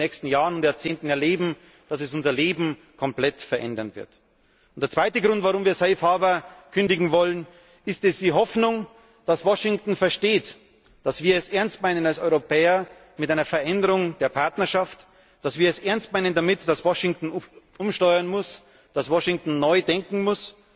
Wir werden in den nächsten Jahren und Jahrzehnten erleben, dass sie unser Leben komplett verändern wird. Der zweite Grund, warum wir safe harbour kündigen wollen, ist die Hoffnung, dass Washington versteht, dass wir es als Europäer ernst meinen mit einer Veränderung der Partnerschaft, dass wir es ernst meinen damit, dass Washington umsteuern muss, dass Washington neu denken muss,